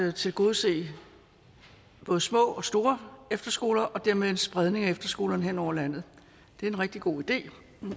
at tilgodese både små og store efterskoler og dermed en spredning af efterskolerne hen over landet det er en rigtig god idé